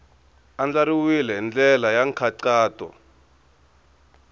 andlariwile hi ndlela ya nkhaqato